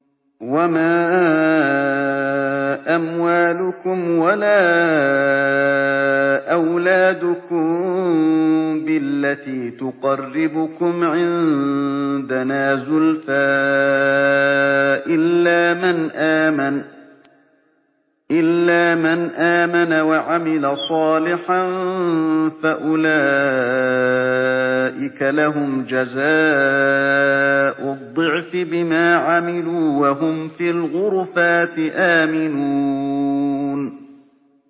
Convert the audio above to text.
وَمَا أَمْوَالُكُمْ وَلَا أَوْلَادُكُم بِالَّتِي تُقَرِّبُكُمْ عِندَنَا زُلْفَىٰ إِلَّا مَنْ آمَنَ وَعَمِلَ صَالِحًا فَأُولَٰئِكَ لَهُمْ جَزَاءُ الضِّعْفِ بِمَا عَمِلُوا وَهُمْ فِي الْغُرُفَاتِ آمِنُونَ